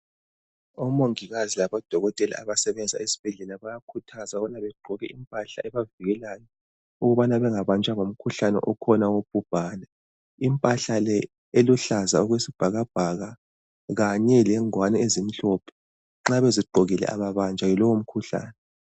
Omongikazi labodokotela abasebenza esibhedlela bayakhuthazwa ukubana bagqoke impahla ebavikelayo ukubana bengabanjwa ngumkhuhlane okhona wobhubhane. Impahla le eluhlaza okwesibhakabhaka kanye lengwane ezimhlophe nxa bezigqokile ababanjwa yilowomkhuhlane.